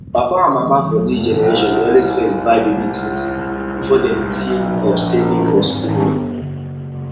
papa and mama for this generation dey always first buy baby things before dem think of saving for school money